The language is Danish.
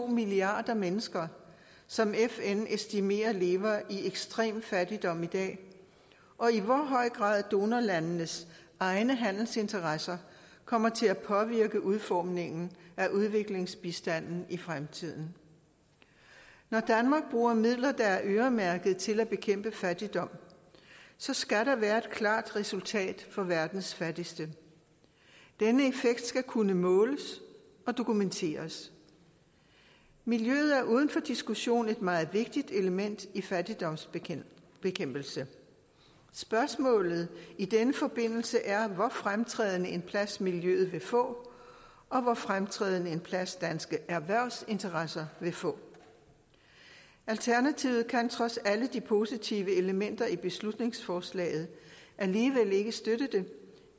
milliarder mennesker som fn estimerer lever i ekstrem fattigdom i dag og i hvor høj grad donorlandenes egne handelsinteresser kommer til at påvirke udformningen af udviklingsbistanden i fremtiden når danmark bruger midler der er øremærket til at bekæmpe fattigdom så skal der være et klart resultat for verdens fattigste denne effekt skal kunne måles og dokumenteres miljøet er uden for diskussion et meget vigtigt element i fattigdomsbekæmpelse spørgsmålet i den forbindelse er hvor fremtrædende en plads miljøet vil få og hvor fremtrædende en plads danske erhvervsinteresser vil få alternativet kan trods alle de positive elementer i beslutningsforslaget alligevel ikke støtte det